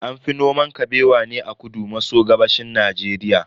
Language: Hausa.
An fi noman Kabewa ne a kudu maso gabashin Najeriya.